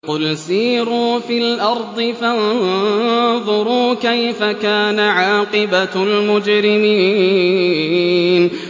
قُلْ سِيرُوا فِي الْأَرْضِ فَانظُرُوا كَيْفَ كَانَ عَاقِبَةُ الْمُجْرِمِينَ